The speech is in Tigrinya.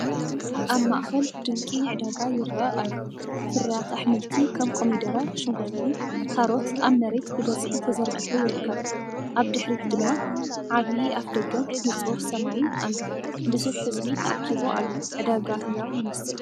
ኣብ ማእከል ድንቂ ዕዳጋ ይረአ ኣሎ፤ ፍርያት ኣሕምልቲ ከም ኮሚደረ፡ ሽጉርቲ፡ ካሮት ኣብ መሬት ብብዝሒ ተዘርጊሑ ይርከብ። ኣብ ድሕሪት ድማ ዓቢ ኣፍደገን ንጹር ሰማይን ኣሎ። ብዙሕ ህዝቢ ተኣኪቡ ኣሎ፣ ዕዳጋ ህያው ይመስል።